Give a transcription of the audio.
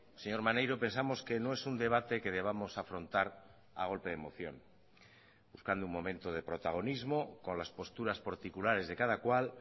señor maneiro pensamos que no es un debate que debamos afrontar a golpe de moción buscando un momento de protagonismo con las posturas particulares de cada cual